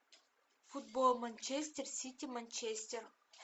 футбол манчестер сити манчестер